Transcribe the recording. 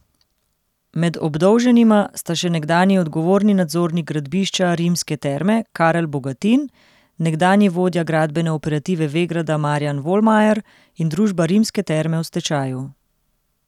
Med obdolženima sta še nekdanji odgovorni nadzornik gradbišča Rimske terme Karel Bogatin, nekdanji vodja gradbene operative Vegrada Marjan Volmajer in družba Rimske terme v stečaju.